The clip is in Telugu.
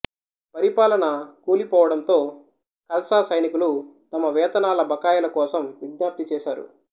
పరిపాలన కూలిపోవడంతో ఖల్సా సైనికులు తమ వేతనాల బకాయిలు కోసం విజ్ఞప్తి చేశారు